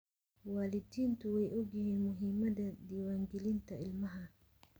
Waalidiintu way ogyihiin muhiimadda diiwaangelinta ilmaha.